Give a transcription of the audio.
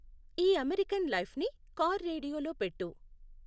ఈ అమెరికన్ లైఫ్ని car radio లో పెట్టు